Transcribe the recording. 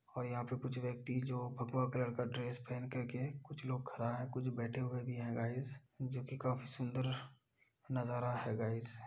और यहाँ पे कुछ व्यक्ति जो भगवा कलर का ड्रेस पहन कर के और कुछ लोग खरा है कुछ बैठे हुए भी हैं गाइज जो कि काफ़ी सुंदर नजा़रा है गाइज ।